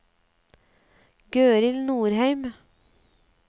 Gøril Norheim